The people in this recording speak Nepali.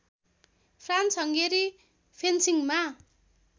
France Hungary फेन्सिङमा